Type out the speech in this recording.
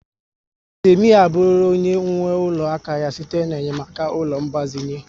Temi abụrụla onye nwe ụlọ aka ya site na-enyemaka ụlọaku ngbazinye